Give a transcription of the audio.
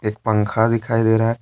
पंखा दिखाई दे रहा है।